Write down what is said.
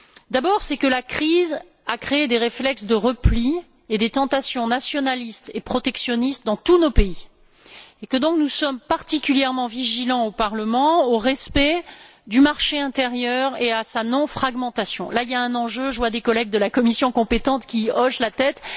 D'abord, la crise a créé des réflexes de repli et des tentations nationalistes et protectionnistes dans tous nos pays et nous sommes donc particulièrement vigilants au Parlement au respect du marché intérieur et à sa non fragmentation. Il y a là un enjeu je vois des collègues de la commission compétente qui hochent la tête.